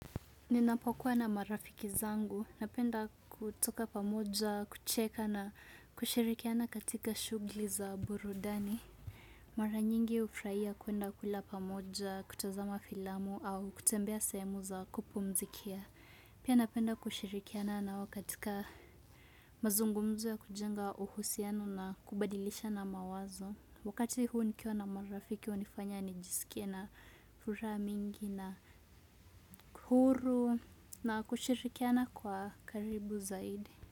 Ninapokuwa na marafiki zangu. Napenda kutoka pamoja, kucheka na kushirikiana katika shughuli za burudani. Mara nyingi hufurahia kwenda kula pamoja, kutazama filamu au kutembea semu za kupumzikia. Pia napenda kushirikiana nao katika mazungumzu ya kujenga uhusianu na kubadilisha na mawazo. Wakati huu nikiwa na marafiki hunifanya nijisikia na furaha mingi na huru na kushirikiana kwa karibu zaidi.